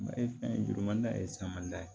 Ma ye fɛn ye juruman ye samada ye